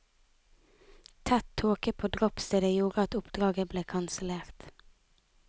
Tett tåke på droppstedet gjorde at oppdraget ble kansellert.